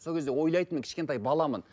сол кезде ойлайтынмын кішкентай баламын